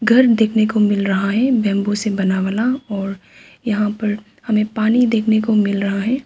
घर देखने को मिल रहा है बेंबो से बना बना और यहां पर हमें पानी देखने को मिल रहा है।